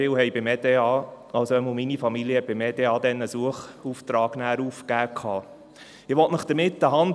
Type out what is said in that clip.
Meine Familie hatte beim Eidgenössischen Departement für auswärtige Angelegenheiten (EDA) einen Suchauftrag aufgegeben.